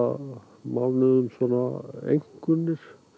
mánuðum svona einkunnir